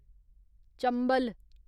Chambal